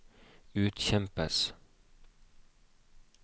utkjempes